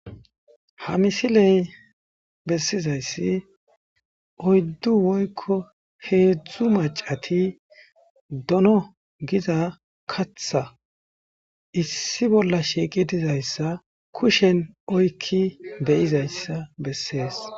Ha misiley bessizayssi oyddu woykko heedzdzu macati dono giza katha issi bolla shiiqi dizayssa kushen oykki beyizayssa bessees.